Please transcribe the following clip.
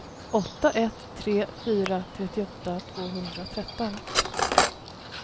åtta ett tre fyra trettioåtta tvåhundratretton